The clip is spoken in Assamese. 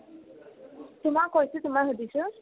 তোমাৰ কৈছো তোমাৰ সুধিছো